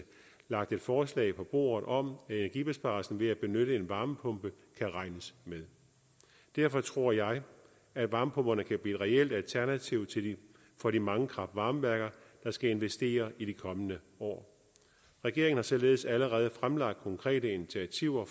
lagt et forslag på bordet om at energibesparelsen ved at benytte en varmepumpe kan regnes med derfor tror jeg at varmepumperne kan blive et reelt alternativ for de mange kraft varme værker der skal investere i de kommende år regeringen har således allerede fremlagt konkrete initiativer